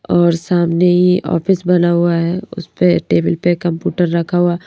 और सामने ही ऑफिस बना हुआ है उस पे टेबल पे कंप्यूटर रखा हुआ--